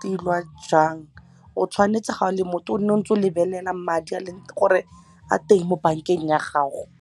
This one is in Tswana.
tilwa jang o tshwanetse ga o le motho o ne o ntse o lebelelang madi gore a teng mo bank-eng ya gago.